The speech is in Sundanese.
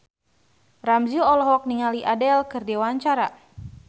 Ramzy olohok ningali Adele keur diwawancara